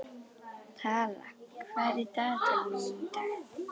Tala, hvað er í dagatalinu mínu í dag?